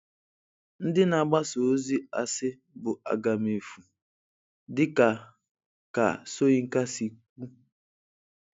Ndị na-agbasa ozi asị bụ agamefu, dị ka ka Soyinka si kwu.